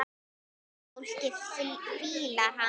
Fólkið fílar hana.